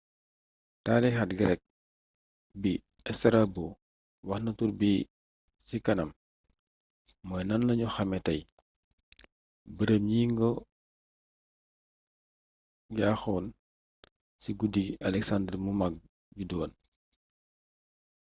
taarixkat greek bi strabo waxna turbi ci kanam mooy nan lañu xamé tay bërëb ñi ngi ko yaxxon ci guddi gi alexander mu mag judduwoon